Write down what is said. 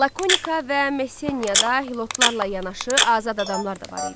Lakonika və Messeniyada hilotlarla yanaşı azad adamlar da var idi.